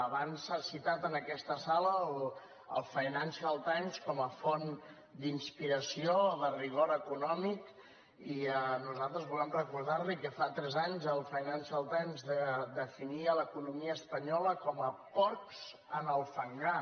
abans s’ha citat en aquesta sala el financial times com a font d’inspiració de rigor econòmic i nosaltres vo·lem recordar·li que fa tres anys el financial times de·finia l’economia espanyola com a porcs en el fangar